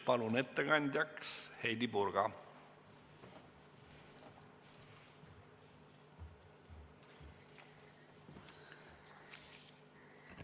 Palun ettekandjaks Heidy Purga!